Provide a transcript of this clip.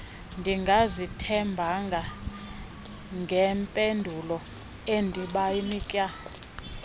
ndingazithembanga ngempendulo endibanika